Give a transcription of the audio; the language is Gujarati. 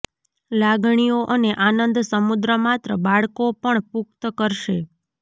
લાગણીઓ અને આનંદ સમુદ્ર માત્ર બાળકો પણ પુખ્ત કરશે